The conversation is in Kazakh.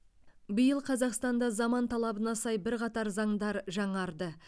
биыл қазақстанда заман талабына сай бірқатар заңдар жаңарды